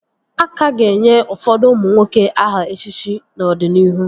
A ka ga-enye ụfọdụ ụmụ nwoke aha echichi n'ọdịnihu